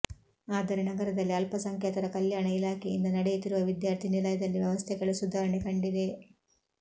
ಆದರೆ ನಗರದಲ್ಲಿ ಅಲ್ಪಸಂಖ್ಯಾತರ ಕಲ್ಯಾಣ ಇಲಾಖೆ ಯಿಂದ ನಡೆಯುತ್ತಿರುವ ವಿದ್ಯಾರ್ಥಿ ನಿಲಯದಲ್ಲಿ ವ್ಯವಸ್ಥೆಗಳು ಸುಧಾರಣೆ ಕಂಡಿದೆ